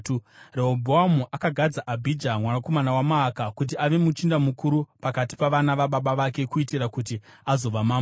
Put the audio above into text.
Rehobhoamu akagadza Abhija mwanakomana waMaaka kuti ave muchinda mukuru pakati pavana vababa vake kuitira kuti azova mambo.